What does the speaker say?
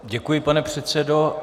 Děkuji, pane předsedo.